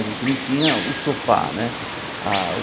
A gente não tinha o sofá, né? Ah o